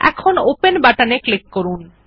এখন ওপেন বাটনে ক্লিক করুন